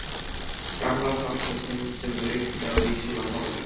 Gamla samkenndin sem ríkti á Vísi var horfin.